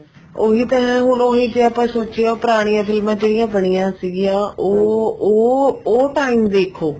ਉਹੀ ਤਾਂ ਹੈ ਹੁਣ ਜੇ ਆਪਾਂ ਸੋਚਿਏ ਪੁਰਾਣੀਆਂ ਫ਼ਿਲਮਾ ਜਿਹੜੀਆਂ ਬਣੀਆਂ ਸੀਗੀਆਂ ਉਹ ਉਹ ਉਹ time ਦੇਖੋ